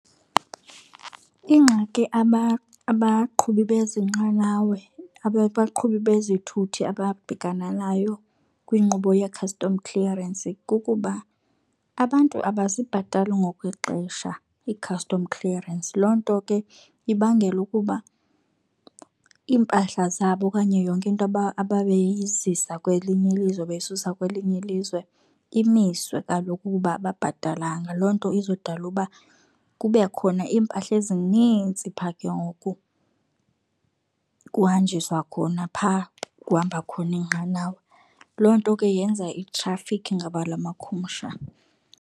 Ingxaki abaqhubi bezi nqanawe, abaqhubi bezithuthi ababhekana nayo kwinqubo yee-custom clearance kukuba abantu abazibhatali ngokwexesha ii-custom clearance. Loo nto ke ibangela ukuba iimpahla zabo okanye yonke into ababeyizisa kwelinye ilizwe beyisusa kwelinye ilizwe imiswe kaloku kuba ababhatalanga. Loo nto izodala ukuba kube khona impahla ezinintsi pha ke ngoku kuhanjiswa khona, phaa kuhamba khona iinqanawa. Loo nto ke yenza i-traffic, ngabula makhumsha.